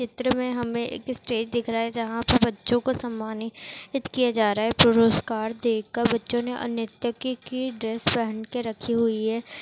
चित्र में हमें एक स्टेज दिख रहा है जहाँ पे बच्चे को सम्मानित नित किया जा रहा है पुरुस्कार दे कर बच्चों मे अ नृत्य की ड्रेस पहन के रखी हुई हैं।